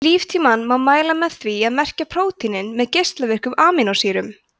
líftímann má mæla með því að merkja prótínin með geislavirkum amínósýrum